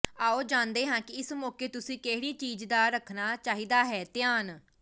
ਆਓ ਜਾਣਦੇ ਹਾਂ ਕਿ ਇਸ ਮੌਕੇ ਤੁਸੀਂ ਕਿਹੜੀ ਚੀਜ਼ ਦਾ ਰੱਖਣਾ ਚਾਹੀਦਾ ਹੈ ਧਿਆਨ